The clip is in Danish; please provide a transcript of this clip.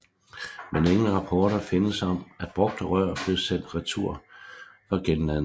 Men ingen rapporter findes om at brugte rør blev sendt retur for genladning